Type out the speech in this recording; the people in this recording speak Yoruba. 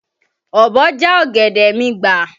Ọ̀bọ já ọ̀gẹ̀dẹ̀ mi gbà.